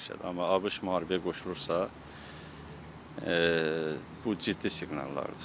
Amma ABŞ müharibəyə qoşulursa, bu ciddi siqnallardır.